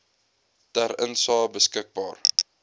ter insae beskikbaar